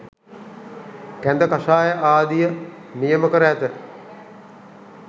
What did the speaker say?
කැඳ කෂාය ආදිය නියම කර ඇත.